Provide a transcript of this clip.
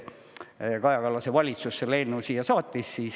Ja Kaja Kallase valitsus selle eelnõu siia saatis.